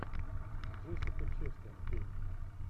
джессика честейн фильм